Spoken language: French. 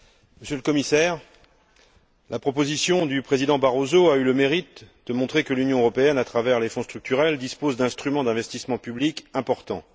Monsieur le Commissaire, la proposition du président Barroso a eu le mérite de montrer que l'Union européenne, à travers les fonds structurels, dispose d'instruments d'investissement public importants.